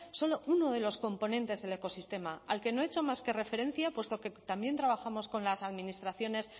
solo uno de los componentes del ecosistema al que no he hecho más que referencia puesto que también trabajamos con las administraciones